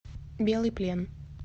белый плен